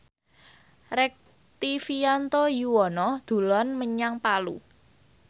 Rektivianto Yoewono dolan menyang Palu